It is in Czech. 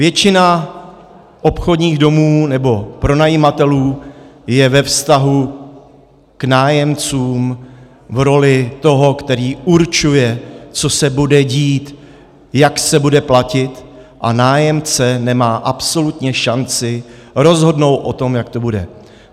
Většina obchodních domů nebo pronajímatelů je ve vztahu k nájemcům v roli toho, který určuje, co se bude dít, jak se bude platit, a nájemce nemá absolutně šanci rozhodnout o tom, jak to bude.